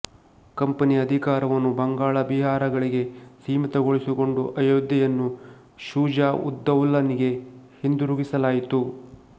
ಕಂಪನಿಯ ಅಧಿಕಾರವನ್ನು ಬಂಗಾಳ ಬಿಹಾರಗಳಿಗೆ ಸೀಮಿತಗೊಳಿಸಿಕೊಂಡು ಅಯೋಧ್ಯೆಯನ್ನು ಷೂಜಾ ಉದ್ದೌಲನಿಗೆ ಹಿಂದಿರುಗಿಸಲಾಯಿತು